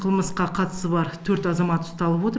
қылмысқа қатысы бар төрт азамат ұсталып отыр